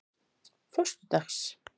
föstudags